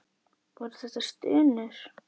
Voru þetta stunur?